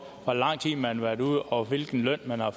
hvor lang tid man har været ude og hvilken løn man har